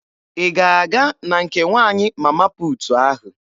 Ị ga-aga na nke nwaanyị Mama puutu ahụ?